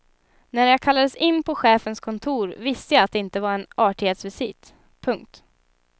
När jag kallades in på chefens kontor visste jag att det inte var en artighetsvisit. punkt